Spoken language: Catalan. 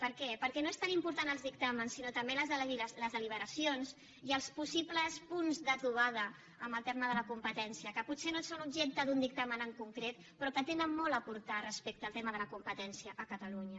per què perquè no són tan importants els dictàmens sinó també les deliberacions i els possibles punts de trobada en el tema de la competència que potser no són objecte d’un dictamen en concret però que tenen molt a aportar respecte al tema de la competència a catalunya